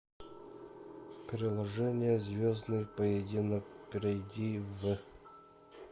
приложение звездный поединок перейди в